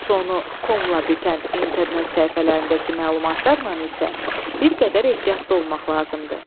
Sonu komla bitən internet səhifələrindəki məlumatlarla isə bir qədər ehtiyatlı olmaq lazımdır.